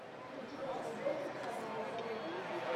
у тебя найдется кровавый полет